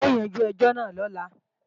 A o yanjú ẹjọ́ náà lọ́la